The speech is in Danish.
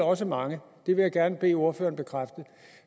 også mange og det vil jeg gerne bede ordføreren bekræfte